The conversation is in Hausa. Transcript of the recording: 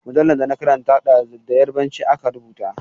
Jaridar da na karanta ɗazu da Yarbanci aka rubuta ta.